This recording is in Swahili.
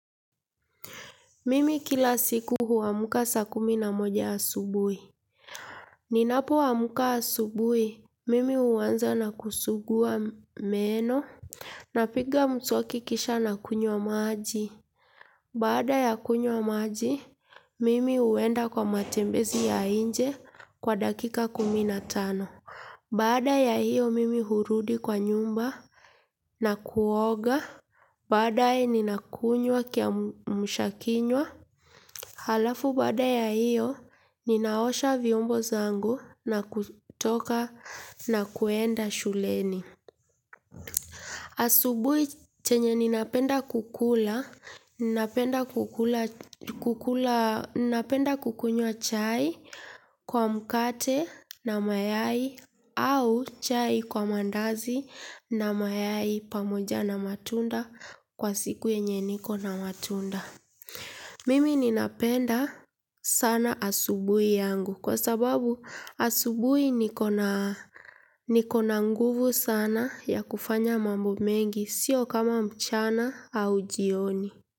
Mimi kila siku huamka saa kumi na moja asubuhi. Ninapoamka asubuhi, mimi huanza na kusugua meno. Napiga mswaki kisha nakunywa maji. Baada ya kunywa maji, mimi huenda kwa matembezi ya nje kwa dakika kumi na tano. Baada ya hiyo mimi hurudi kwa nyumba na kuoga baadae, ninakunywa kiamsha kinywa. Halafu baada ya hiyo ninaosha vyombo zangu na kutoka nakwenda shuleni. Asubuhi chenye ninapenda kukula, ninapenda kukunywa chai kwa mkate na mayai au chai kwa maandazi na mayai pamoja na matunda kwa siku yenye niko na matumda mimi ninapenda sana asubuhi yangu kwa sababu asubuhi niko na niko na nguvu sana ya kufanya mambo mengi sio kama mchana au jioni.